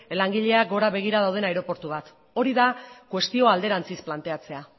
langileak gora begira dauden aireportu bat hori da kuestioa alderantziz planteatzea